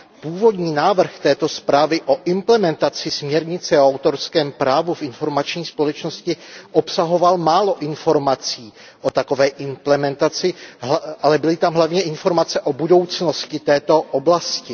Původní návrh této zprávy o implementaci směrnice o autorském právu v informační společnosti obsahoval málo informací o takové implementaci, ale byly tam hlavně informace o budoucnosti této oblasti.